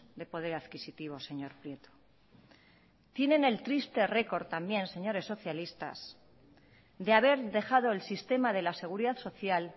de poder adquisitivo señor prieto tienen el triste récord también señores socialistas de haber dejado el sistema de la seguridad social